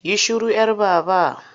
Yi shiru 'yar Baba!